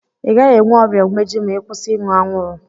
I gaghi enwe ọrịa umeji ma I kwụsị ịṅụ anwuru